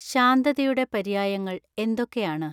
ശാന്തതയുടെ പര്യായങ്ങൾ എന്തൊക്കെയാണ്